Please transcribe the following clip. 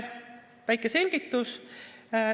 Väike selgitus.